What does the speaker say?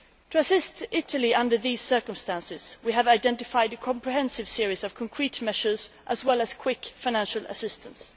To assist Italy in these circumstances, we have identified a comprehensive series of concrete measures as well as quick financial assistance.